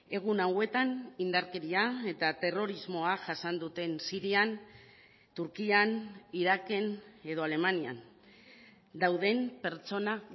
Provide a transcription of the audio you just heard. egun hauetan indarkeria eta terrorismoa jasan duten sirian turkian iraken edo alemanian dauden pertsona